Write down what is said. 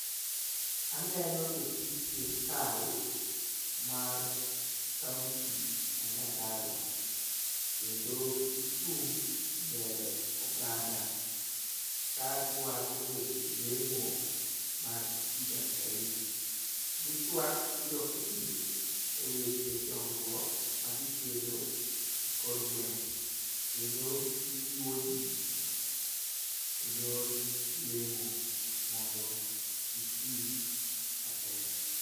Aneno jotij sirkal mar kaunti ma nyandarua kendo gichung' e mbele oganda ka giwacho weche lemo ma higa ka higa . Gitwak gi jopiny e weche dongruok ma gikelo e kor gwenge kendo gijiwo jii e yor lemo mondo giti matek.